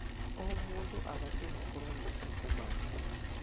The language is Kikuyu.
O mũndũ abatiĩ gũkorwo na mabuku make.